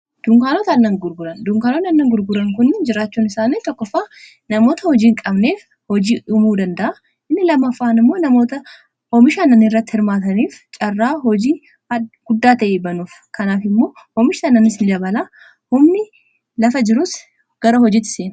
dunkaanoot annan gurguran kun jiraachuun isaani tokkofaa namoota hojiihin qabneef hojii umuu danda'a inni lamafaan immoo naothoomish annanii irratti hirmaataniif caarraa hojii guddaa ta'ebanuuf kanaaf immoo homisha annanis dabalaa homni lafa jirus gara hojitse